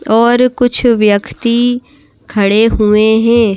और कुछ व्यक्ति खड़े हुए हैं।